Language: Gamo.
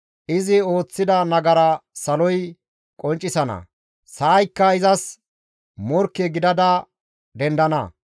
Izi ooththida nagara saloy qonccisana; sa7ayakka izas morkke gidada dendana.